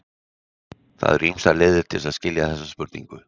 Það eru ýmsar leiðir til að skilja þessa spurningu.